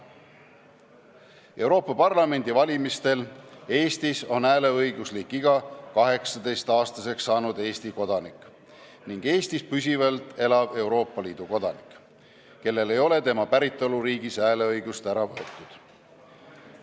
Euroopa Parlamendi valimistel Eestis on hääleõigulik iga 18-aastaseks saanud Eesti kodanik ning Eestis püsivalt elav Euroopa Liidu kodanik, kellelt ei ole tema päritoluriigis hääleõigust ära võetud.